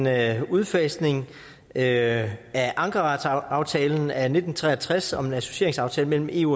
er en udfasning af ankaraaftalen af nitten tre og tres om en associeringsaftale mellem eu